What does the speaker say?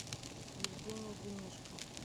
евгения демешко